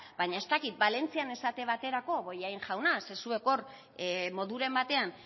baina ez dakit valentzian esate baterako bollain jauna ze zuek hor moduren batean